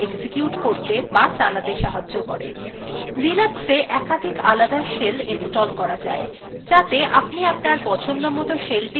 linuxএ একাধিক আলাদা shell install করা যায় যাতে আপনি আপনার পছন্দমত shellthe ব্যবহার করতে পারেন